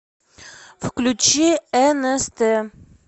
включи нст